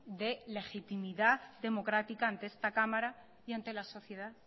de legitimidad democrática ante esta cámara y ante la sociedad